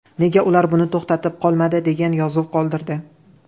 Nega ular buni to‘xtatib qolmadi?” degan yozuv qoldirdi.